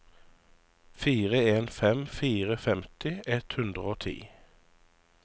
fire en fem fire femti ett hundre og ti